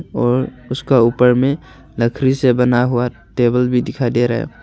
और उसका ऊपर में लकड़ी से बना हुआ टेबल भी दिखाई दे रहा है।